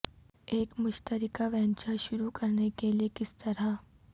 ایک مشترکہ وینچر شروع کرنے کے لئے کس طرح